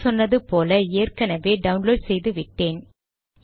முன் சொன்னது போல ஏற்கனவே டவுன்லோட் செய்து விட்டேன்